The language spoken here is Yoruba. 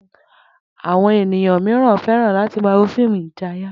Àwo̩n ènìyàn mìíràn fé̩ràn láti máa wo fíìmù ìjayà